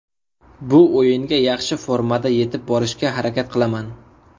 Bu o‘yinga yaxshi formada yetib borishga harakat qilaman.